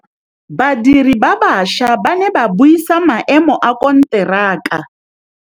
Badiri ba baša ba ne ba buisa maêmô a konteraka.